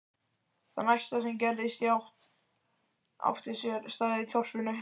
Það næsta sem gerðist átti sér stað í þorpinu.